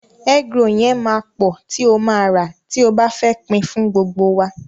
Egg roll yẹn máa pọ̀ tí o ma rà tí o bá fẹ́ pin fún gbogbo wa.